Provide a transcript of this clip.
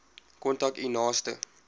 kontak u naaste